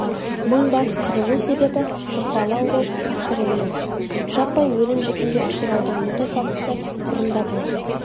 мың бас қырылу себебі жұқпалы ауру пастереллез жаппай өлім-жітімге ұшыраудың мұндай фактісі бұрын да болған